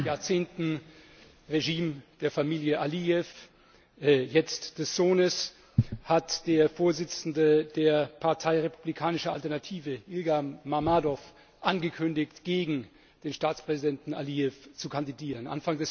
Nach Jahrzehnten Regime der Familie Alijew jetzt des Sohnes hat der Vorsitzende der Partei Republikanische Alternative, Ilgam Mamadow, angekündigt, gegen den Staatspräsidenten Alijew zu kandidieren.